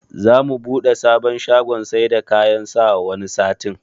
Za mu buɗe sabon shagon saida kayan sawa wani satin